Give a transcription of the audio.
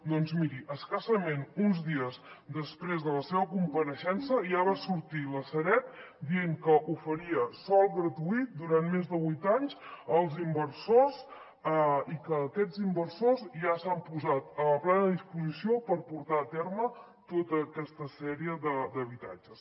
doncs miri escassament uns dies després de la seva compareixença ja va sortir la sareb dient que oferia sòl gratuït durant més de vuit anys als inversors i aquests inversors ja s’han posat a plena disposició per portar a terme tota aquesta sèrie d’habitatges